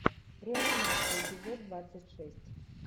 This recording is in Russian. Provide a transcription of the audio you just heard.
реанимация эпизод двадцать шесть